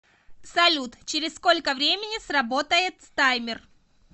салют через сколько времени сработает таймер